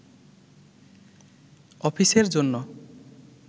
অফিসের জন্য